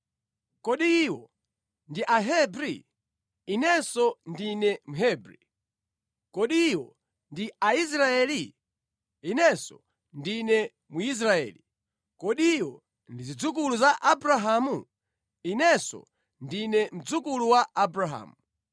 Kodi iwo ndi Ahebri? Inenso ndine Mhebri. Kodi iwo ndi Aisraeli? Inenso ndine Mwisraeli. Kodi iwo ndi zidzukulu za Abrahamu? Inenso ndine mdzukulu wa Abrahamu.